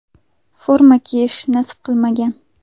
Forma kiyish nasib qilmagan.